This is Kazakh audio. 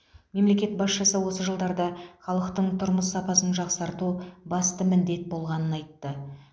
мемлекет басшысы осы жылдарда халықтың тұрмыс сапасын жақсарту басты міндет болғанын айтты